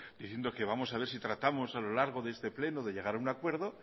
diciendo que vamos a ver si tratamos a lo largo de este pleno de llegar a un acuerdo